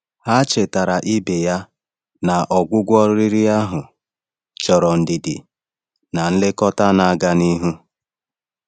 Ha chetara ibe ha na ọgwụgwọ riri ahụ chọrọ ndidi na nlekọta na-aga n’ihu.